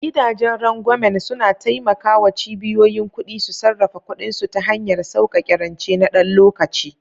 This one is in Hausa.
Gidajen rangwamen suna taimaka wa cibiyoyin kuɗi su sarrafa kuɗinsu ta hanyar sauƙaƙe rance na ɗan lokaci.